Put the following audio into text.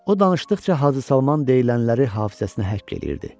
O danışdıqca Hacı Salman deyilənləri hafizəsinə həkk eləyirdi.